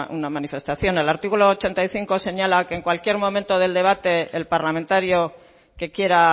una manifestación el artículo ochenta y cinco señala que en cualquier momento del debate el parlamentario que quiera